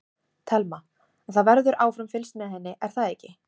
Telma: En það verður áfram fylgst með henni er það ekki?